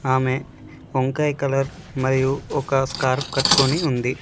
ఆమె వంకాయ కలర్ మరియు ఒక స్కార్ఫ్ కట్టుకొని ఉంది.